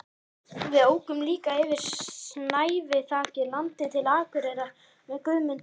Við ókum líka yfir snæviþakið landið til Akureyrar með Guðmundi